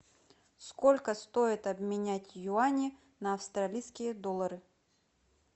сколько стоит обменять юани на австралийские доллары